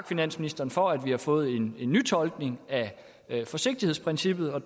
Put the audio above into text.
finansministeren for at vi har fået en nytolkning af forsigtighedsprincippet og